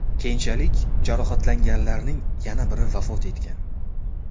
Keyinchalik jarohatlanganlarning yana biri vafot etgan .